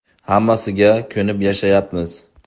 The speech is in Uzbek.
Hammasiga ko‘nib yashayapmiz.